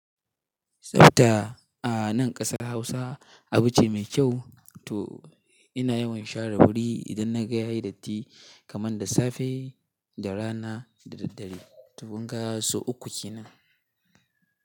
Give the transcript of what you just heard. Tsafta a nan ƙasar Hausa abu ce mai kyau. To ina yawan share wuri idan na ga ya yi datti kamar da safe da rana da daddare. To kunga sau uku kenan.